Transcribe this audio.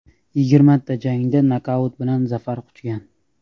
Yigirmata jangda nokaut bilan zafar quchgan.